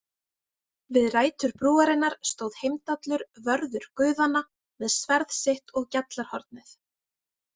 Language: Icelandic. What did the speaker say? Við rætur brúarinnar stóð Heimdallur, vörður guðanna, með sverð sitt og Gjallarhornið.